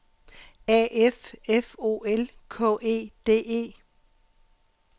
A F F O L K E D E